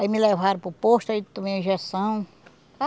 Aí me levaram para o posto, aí tomei a injeção.